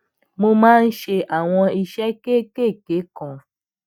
mo máa ń ṣe àwọn iṣé kéékèèké kan